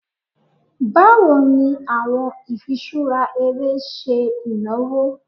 Bawo ni awọn ifiṣura ere ṣe inawo?